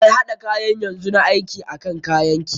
Mai haɗa kayan yanzu na aiki akan kayan ki.